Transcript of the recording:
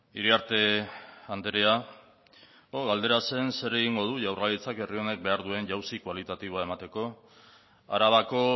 iriarte andrea galdera zen zer egingo du jaurlaritzak herri honek behar duen jauzi kualitatiboa emateko arabako